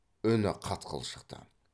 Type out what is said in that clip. үні қатқыл шықты